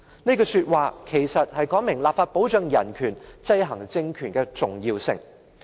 "這句話說明立法保障人權、制衡政權的重要性。